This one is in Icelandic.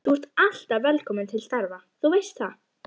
Þú ert alltaf velkominn til starfa, þú veist það.